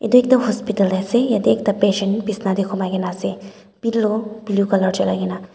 etu ekta hospital ase yate ekta patient bisna teh humai ke na ase pillow blue colour jonai ke na.